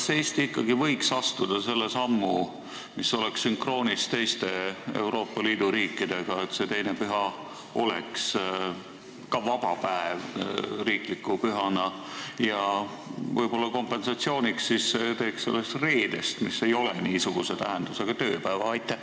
Kas Eesti võiks astuda selle sammu, mis oleks sünkroonis teiste Euroopa Liidu riikidega, et teine püha oleks ka vaba päev riikliku pühana ja võib-olla kompensatsiooniks siis teeks sellest reedest, mis ei ole niisuguse tähendusega, tööpäeva?